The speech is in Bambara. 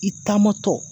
I taamatɔ